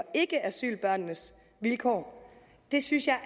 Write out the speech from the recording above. ikke asylbørnenes vilkår det synes jeg er